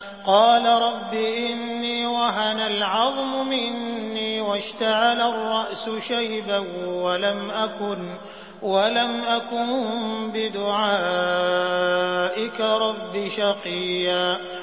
قَالَ رَبِّ إِنِّي وَهَنَ الْعَظْمُ مِنِّي وَاشْتَعَلَ الرَّأْسُ شَيْبًا وَلَمْ أَكُن بِدُعَائِكَ رَبِّ شَقِيًّا